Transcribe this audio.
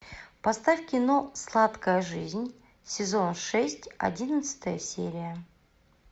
поставь кино сладкая жизнь сезон шесть одиннадцатая серия